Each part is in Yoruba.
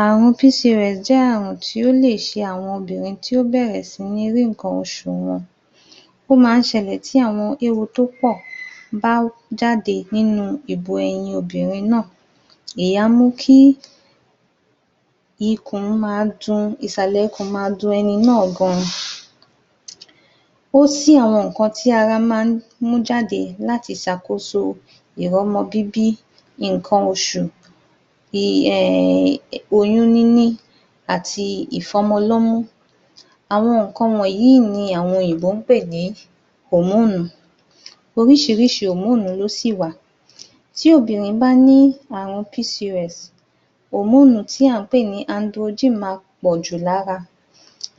Àrùn [PCOS] jẹ́ àrùn tí ó lè ṣe àwọn obìnrin tí ó bẹ̀rẹ̀ sí ní rí nnkan oṣù wọn. Ó máa ń ṣẹlẹ̀ tí àwọn éwo tó pọ̀ bá jáde nínú ìbu ẹyin obìnrin náà. Èyí á mú kí ìsàlẹ̀ ikùn máa dun ẹni náà gan-an. Ó si àwọn nnkan tí ara máa ń mú jáde láti ṣàkóso ìrọ́mọ bíbí, nnkan oṣù, err oyún níní, àti ìfọ́mọ lọ́mú. Àwọn nǹkan wọ̀nyí ni àwọn òyìnbó ń pè ní [Hormone], oríṣiríṣi [hormone] ló sì wà Tí obìnrin bá ń ní àrùn [PCOS], [hormone] tí à ń pè ní [androgen] ma pọ̀ jù lára,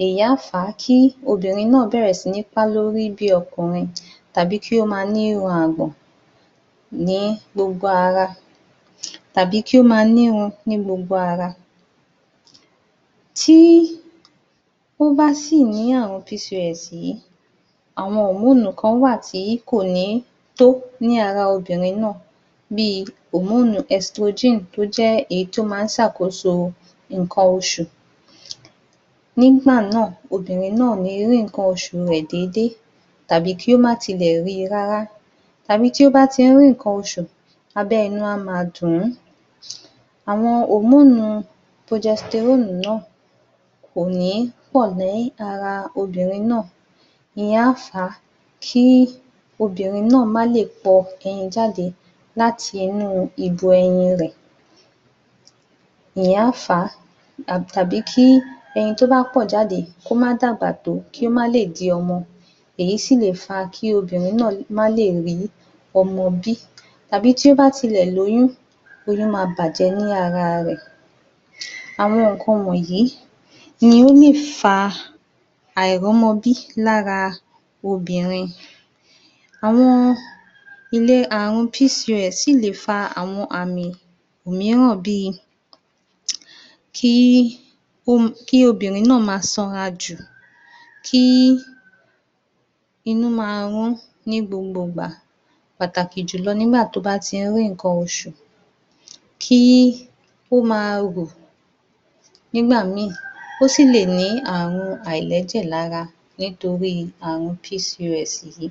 èyí á fà á kí obìnrin náà bẹ̀rẹ̀ sí ní pá lórí bí ọkùnrin, tàbí kí ó ma ní irun àgbọ̀n ní gbogbo ara, tàbí kí ó ma nírun ní gbogbo ara. Tí ó bá sì ní àrùn [PCOS] yìí, àwọn [hormone] kan wà tí kò ní tó ní ara obìnrin náà bí i [hormone estrogen] tó jẹ́ èyí tí ó má ń ṣàkóso nnkan oṣù. Nígbà náà, obìnrin náà ò ní rí nnkan oṣù rẹ̀ déédéé, tàbí kí ó má tilẹ̀ ri rárá, tàbí tí ó bá ti ń rí nǹkan oṣù, abẹ́ inú á ma dùn-ún. Àwọn [hormone] [progesterone] náà, kò ní pọ̀ ní ara obìnrin náà. Ìyẹn á fà á kí obìnrin náà má le pọ ẹyin jáde láti inú ìbu ẹyin rẹ̀. Tàbí kí ẹyin tó bá pọ̀ jáde, kó má dàgbà tó kí ó má lè di ọmọ. Èyí sì lè fà á kí obìnrin náà má lè rí ọmọ bí tàbí tí ó bá tilẹ̀ lóyún, oyún ma bàjẹ́ ní ara rẹ̀. Àwọn nnkan wọ̀nyí ni ó lè fa àìrọ́mọ bí lára obìnrin. Àrùn [PCOS] sì lè fa àwọn àmì mìíràn bí i: kí obìnrin náà ma sanra jù, kí inú ma rún ní gbogbo ìgbà pàtàkì jù lọ nígbà tó bá ti ń rí nǹkan oṣù, kí ó ma rù nígbà míì, ó sì le ní àrùn àìlẹ́jẹ̀ lára nítorí àrùn [PCOS] yìí.